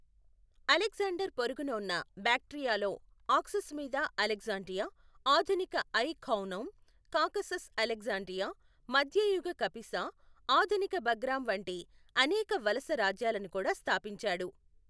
Alexander పొరుగున ఉన్న బాక్ట్రియాలో ఆక్సస్ మీద అలెగ్జాండ్రియా, ఆధునిక ఐ ఖానౌమ్, కాకసస్ అలెగ్జాండ్రియా, మధ్యయుగ కపిసా, ఆధునిక బగ్రామ్, వంటి అనేక వలస రాజ్యాలను కూడా స్థాపించాడు.